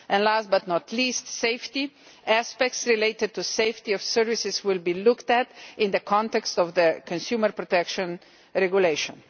Last, but not least, on safety, aspects related to the safety of services will be looked at in the context of the Consumer Protection Regulation.